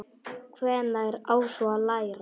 Hvenær á svo að læra?